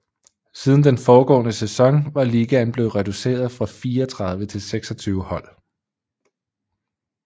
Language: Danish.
Siden den foregående sæson var ligaen blevet reduceret fra 34 til 26 hold